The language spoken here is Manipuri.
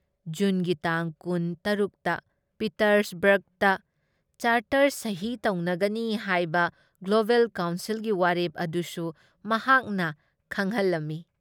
ꯖꯨꯟꯒꯤ ꯇꯥꯡ ꯀꯨꯟ ꯇꯥꯔꯨꯛ ꯇ ꯄꯤꯇꯔꯁꯕꯔꯒꯇ ꯆꯥꯔꯇꯔ ꯁꯍꯤ ꯇꯧꯅꯒꯅꯤ ꯍꯥꯏꯕ ꯒ꯭ꯂꯣꯕꯦꯜ ꯀꯥꯎꯟꯁꯤꯜꯒꯤ ꯋꯥꯔꯦꯞ ꯑꯗꯨꯁꯨ ꯃꯍꯥꯛꯅ ꯈꯪꯍꯜꯂꯝꯃꯤ ꯫